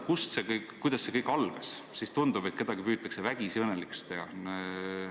Vaadates, kuidas see kõik algas, siis tundub, et kedagi püütakse vägisi õnnelikuks teha.